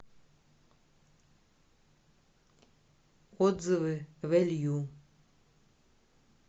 отзывы вэлью